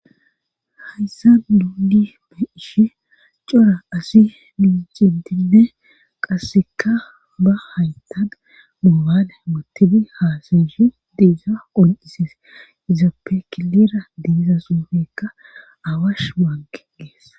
hayssa nuni be'ishe cora asi micintinne qasseka ba haytan moobale wottidi haasayishi diisa qoncises izappe kilira diiza suufekka awash baanke geess